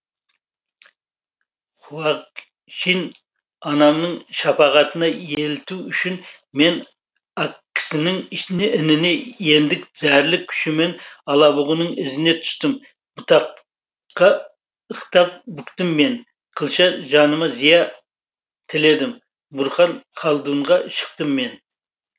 хуагчин анамның шапағытына елету үшін мен ақкісінің ініне ендік зәрлік күшіммен алабұғының ізіне түстім бұтақта ықтап бүктім мен қылша жаныма зия тіледім бұрхан халдунға шықтым мен